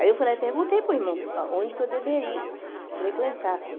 Aí eu falei, perguntei para o irmão, onde que eu deveria frequentar, assim.